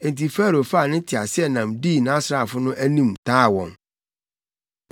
Enti Farao faa ne teaseɛnam dii nʼasraafo no anim taa wɔn.